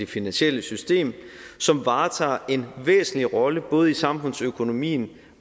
finansielle system som varetager en væsentlig rolle både i samfundsøkonomien